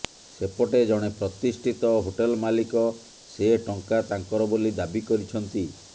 ସେପଟେ ଜଣେ ପ୍ରତିଷ୍ଠିତ ହୋଟେଲ ମାଲିକ ସେ ଟଙ୍କା ତାଙ୍କର ବୋଲି ଦାବି କରିଛନ୍ତି